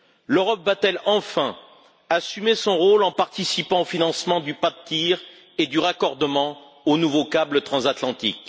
L'Europe va t elle enfin assumer son rôle en participant au financement du pas de tir et du raccordement au nouveau câble transatlantique?